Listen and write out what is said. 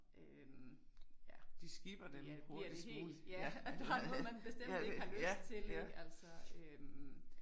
Øh ja ja bliver det helt ja og der er noget man bestemt ikke har lyst til ik altså øh